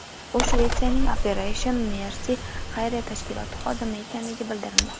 U Shvetsiyaning Operation Mercy xayriya tashkiloti xodimi ekanligi bildirilmoqda.